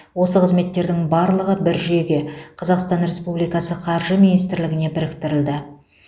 осы қызметтердің барлығы бір жүйеге қазақстан республикасы қаржы министрлігіне біріктірілді